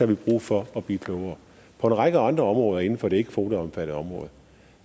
vi brug for at blive klogere på en række andre områder inden for det ikke kvoteomfattede område